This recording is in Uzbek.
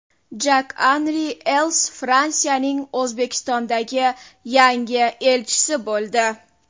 Jak-Anri Els Fransiyaning O‘zbekistondagi yangi elchisi bo‘ldi.